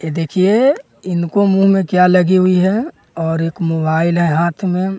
ये देखिए इनको मुंह में क्या लगी हुई है और एक मोबाइल है हाथ में।